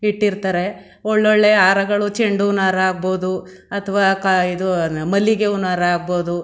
ಇಟ್ಟಿರ್ತಾರೆ ಒಳ್ಳೊಳ್ಳೇ ಹಾರಗಳು ಚೆಂಡೂ ಹೂನಾರ ಹಾಗಬಹುದು ಅಥವಾ ಆ-ಮಲ್ಲಿಗೆ ಹೂನಾರ ಹಾಗಬಹುದು.